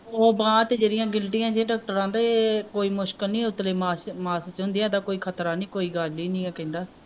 ਉਹ ਬਾਹ ਤੇ ਜਿਹੜੀਆਂ ਗਿਲਟੀਆਂ ਚ ਡਾਕਟਰ ਆਂਦੇ ਇਹ ਕੋਈ ਮੁਸ਼ਕਿਲ ਨਹੀਂ ਉਤਲੇ ਮਾਸ ਮਾਸ ਵਿਚ ਹੁੰਦੀਆਂ ਇਹਦਾ ਕੋਈ ਖ਼ਤਰਾ ਨਹੀਂ ਕੋਈ ਗੱਲ ਈ ਨੀ ਕਹਿੰਦਾ